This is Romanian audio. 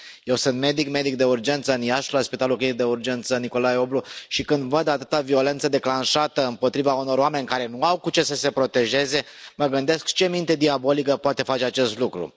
Eu sunt medic, medic de urgență în Iași, la Spitalul Clinic de Urgență Nicolae Oblu, și când văd atâta violență declanșată împotriva unor oameni care nu au cu ce să se protejeze, mă gândesc ce minte diabolică poate face acest lucru.